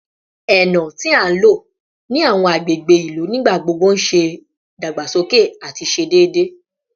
Eno ti a lo ni awọn agbegbe ilu nigbagbogbo n dagbasoke ati ṣe deede